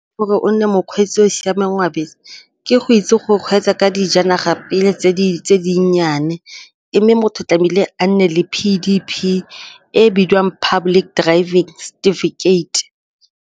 Gore o nne mokgweetsi o o siameng wa bese ke go itse go kgweetsa ka dijanaga pele tse dinnyane mme motho tlamehile a nne le P_D_P e bidiwang public driving certificate.